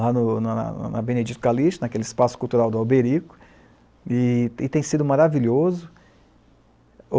lá no, na Benedito Calixto, naquele espaço cultural do Alberico, e tem sido maravilhoso.